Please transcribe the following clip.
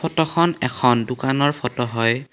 ফটোখন এখন দোকানৰ ফটো হয়।